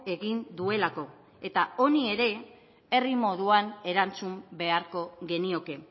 egin duelako eta honi ere herri moduan erantzun beharko genioke